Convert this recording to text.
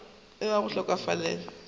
ya go hloka kholofelo go